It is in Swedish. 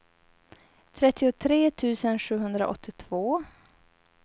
trettiotre tusen sjuhundraåttiotvå